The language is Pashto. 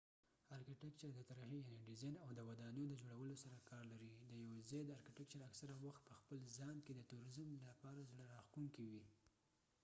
ارکېتیکچر د طرحی یعنی ډیزاین او د ودانیو د جوړولو سره کار لري د یوه ځای ارکېتیکچر اکثره وخت په خپل ځان کې د تورزم لپاره زړه راښکونکې وي